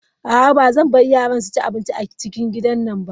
A'a bazan bar yaran su ci abinci a cikin gidan nan ba.